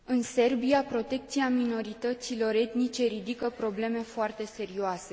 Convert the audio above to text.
În Serbia, protecția minorităților etnice ridică probleme foarte serioase.